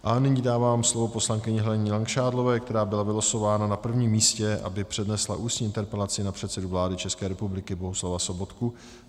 A nyní dávám slovo poslankyni Heleně Langšádlové, která byla vylosována na prvním místě, aby přednesla ústní interpelaci na předsedu vlády České republiky Bohuslava Sobotku.